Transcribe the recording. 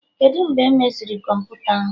Kedụ mgbe emeziri kọmputa ahụ?